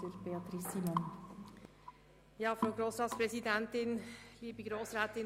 Ich erteile Frau Regierungsrätin Simon das Wort.